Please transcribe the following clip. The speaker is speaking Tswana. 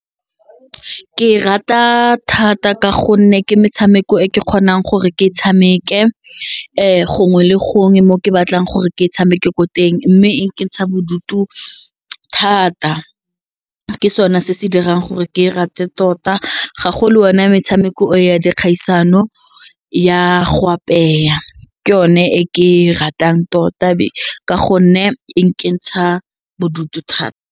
Ke rata thata ka gonne ke metshameko e ke kgonang gore ke e tshameke gongwe le gongwe mo ke batlang gore ke e tshameke ko teng mme e nkentsha bodutu thata ke sone se se dirang gore ke e rate tota gagolo yone metshameko ya dikgaisano ya go apeya ke yone e ke e ratang tota ka gonne e nkentsha bodutu thata.